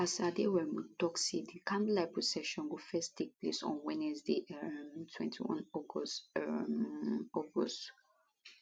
pastor aderounmu tok say di candlelight procession go first take place on wednesday um 21 august um august